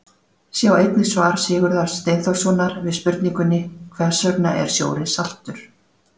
Sjá einnig svar Sigurðar Steinþórssonar við spurningunni Hvers vegna er sjórinn saltur?.